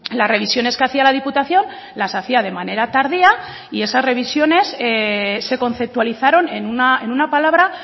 las revisiones que hacía la diputación las hacía de manera tardía y esas revisiones se conceptualizaron en una palabra